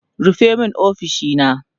rufe min ofishina!